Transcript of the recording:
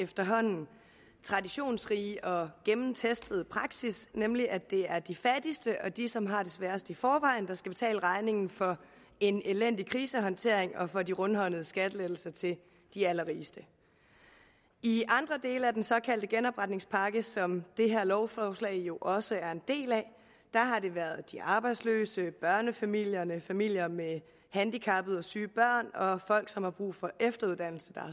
efterhånden traditionsrige og gennemtestede praksis nemlig at det er de fattigste og de som har det sværest i forvejen der skal betale regningen for en elendig krisehåndtering og for de rundhåndede skattelettelser til de allerrigeste i andre dele af den såkaldte genopretningspakke som det her lovforslag jo også er en del af har det været de arbejdsløse børnefamilierne familier med handicappede og syge børn og folk som har brug for efteruddannelse der